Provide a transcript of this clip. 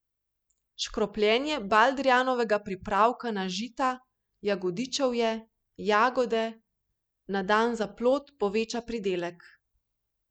Škropljenje baldrijanovega pripravka na žita, jagodičevje, jagode, na dan za plod, poveča pridelek.